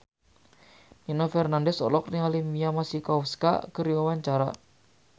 Nino Fernandez olohok ningali Mia Masikowska keur diwawancara